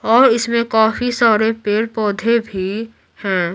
और इसमें काफी सारे पेड़ पौधे भी हैं।